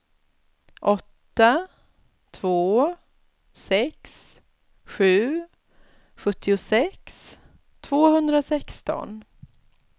åtta två sex sju sjuttiosex tvåhundrasexton